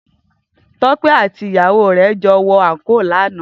Tope àtí iyàwó re jò wò ànkó làná